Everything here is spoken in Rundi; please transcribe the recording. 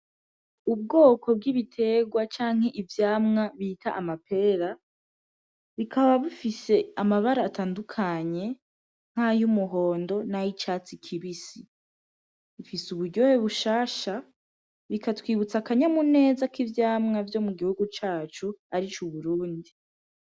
Ubwoko bw'ibiterwa canke ivyamwa bita amapera bikaba bifise amabara atandukanye nk'ay'umuhondo n'ay'icatsi kibisi. Bifise uburyohe bushasha, bikatwibutsa akanyamuneza ko mu gihugu cacu arico Uburundi.